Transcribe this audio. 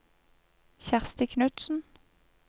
Kjersti Knutsen